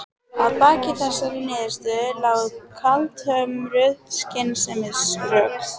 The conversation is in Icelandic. Að baki þessari niðurstöðu lágu kaldhömruð skynsemisrök.